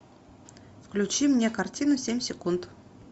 включи мне картину семь секунд